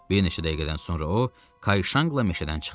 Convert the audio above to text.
Bir neçə dəqiqədən sonra o, Kay Şanqla meşədən çıxdı.